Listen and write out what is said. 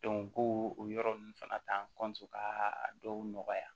ko o yɔrɔ ninnu fana ta ka a dɔw nɔgɔya